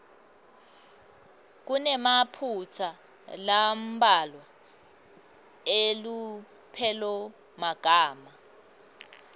kunemaphutsa lambalwa elupelomagama